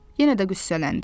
Yenə də qüssələndi.